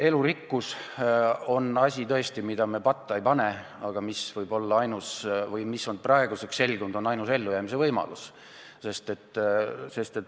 Elurikkus on asi tõesti, mida me patta ei pane, aga nagu praeguseks on selgunud, see võib olla ainus ellujäämise võimalus.